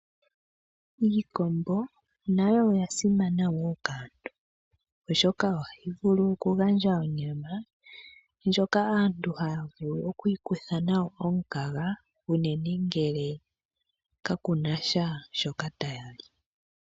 Iikombo nayo oya simana wo kaantu oshoka ohayi vulu oku gandja onyama ndjoka aantu haya vulu oku ikutha nayo omukaga uunene ngele kakuna sha shoka taya li.